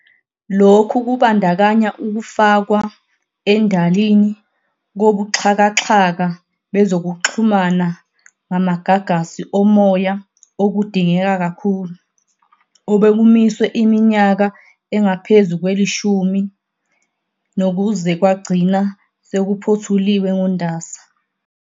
Lokhu kubandakanya ukufakwa endalini kobuxhakaxhaka bezokuxhumana ngamagagasi omoya okudingeka kakhulu, obekumiswe iminyaka engaphezu lwelishumi nokuze kwagcina sekuphothuliwe ngoNdasa.